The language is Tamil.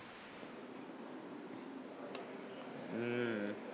ஹம்